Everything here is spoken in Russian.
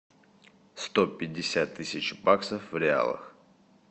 сто пятьдесят тысяч баксов в реалах